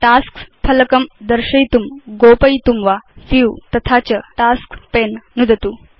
tasks फलकं दर्शयितुं गोपयितुं वा व्यू तथा च टास्क्स् पणे नुदतु